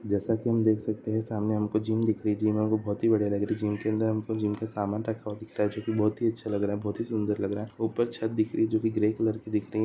जैसा की हम देख सकते है की सामने हमको जिम दिख रही है जिम हमको बहुत हि बड़ी लग रही है जिम के अंदर हमे जिम का समान रखा हुआ दिखता है जो की बहुत अच्छा लग रहा है बहुत ही सुंदर लग रहा है ऊपर छत दिख रही है जो की ग्रे कलर की दिख रही है।